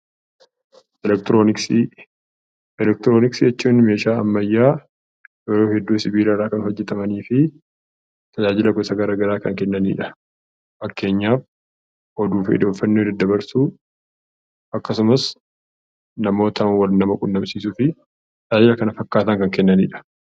Elektirooniksi, Elektirooniksi jechuun meeshaa ammayyaa yeroo hedduu sibiilarraa hojjatamanufi tajaajila gosa garagaraa kan kennaniidha. Fakkeenyaaf oduufi odeeffannoo daddabarsuu akkasumas namoota wal quunnamsiisuufi tajaajila kana fakkaatan kan kennanidha.